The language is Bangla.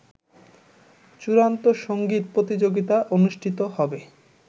চূড়ান্ত সংগীত প্রতিযোগিতা অনুষ্ঠিত হবে